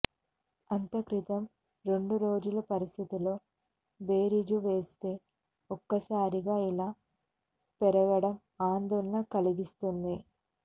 అంతక్రితం రెండురోజుల పరిస్థితితో బేరీజు వేస్తే ఒక్కసారిగా ఇలా పెరగడం ఆందోళన కలిగిస్తుంది